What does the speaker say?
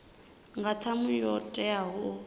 nga ṱhamu yo teaho u